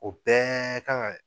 O bɛɛ kan ka